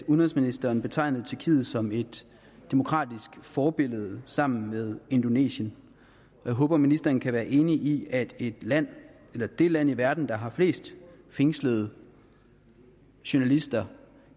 udenrigsministeren betegnede tyrkiet som et demokratisk forbillede sammen med indonesien jeg håber at ministeren kan være enig i at det land det land i verden der har flest fængslede journalister